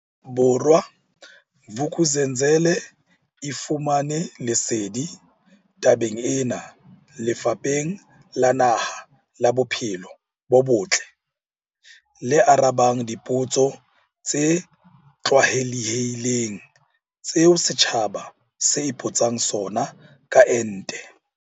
Bo rwa, Vuk'uzenzele e fumane lesedi tabeng ena Lefapheng la Naha la Bo phelo bo Botle le arabang dipotso tse tlwaelehileng tseo setjhaba se ipotsang sona ka ente.